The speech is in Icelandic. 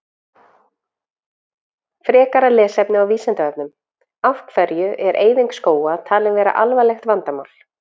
Frekara lesefni á Vísindavefnum: Af hverju er eyðing skóga talin vera alvarlegt vandamál?